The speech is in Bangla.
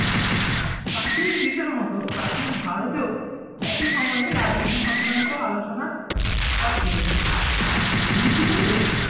প্রাচীন গ্রিসের মত প্রাচীন ভারতেও একই সময়ে রাজনীতি সংক্রান্ত আলোচনার সূত্রপাত ঘটেছিল ঋকবেদে।